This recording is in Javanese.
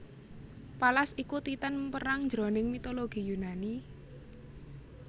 Pallas iku Titan perang jroning mitologi Yunani